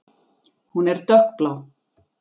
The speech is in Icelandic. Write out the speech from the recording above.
Hún er dökkblá.